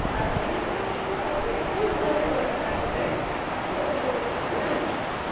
а соня что а соня хуй ложила как бы вот